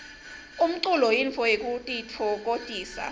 umculo yintfo yekutitfokotisa